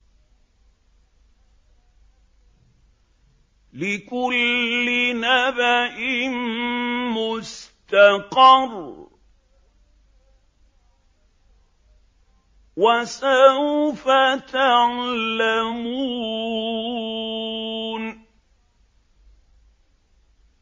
لِّكُلِّ نَبَإٍ مُّسْتَقَرٌّ ۚ وَسَوْفَ تَعْلَمُونَ